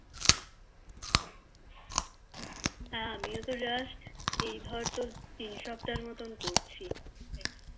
আমি ও তো Just এই তোর তিন সপ্তাহ মতো করছি